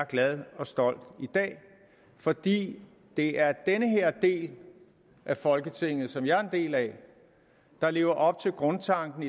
glad og stolt fordi det er den her del af folketinget som jeg er en del af der lever op til grundtanken